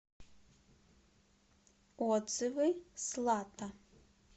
отзывы слата